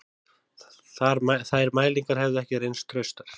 Þær mælingar hefðu ekki reynst traustar